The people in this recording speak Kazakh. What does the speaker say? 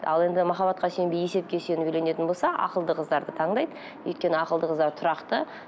ал енді махаббатқа сүйенбей есепке сүйеніп үйленетін болса ақылды қыздарды таңдайды өйткені ақылды қыздар тұрақты